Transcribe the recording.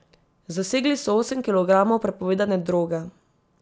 Zasegli so osem kilogramov prepovedane droge.